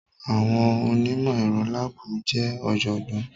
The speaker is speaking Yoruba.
Àwọn onímọ̀ ẹ̀rọ láàbù jẹ́ ọ̀jọ̀gbọ́n.